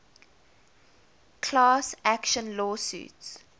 class action lawsuits